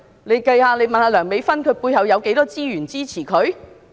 大家可以詢問梁美芬議員，她背後有多少資源支持她？